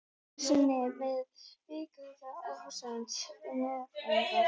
Kom ekki einu sinni með kvikinska athugasemd um meyfæðingar.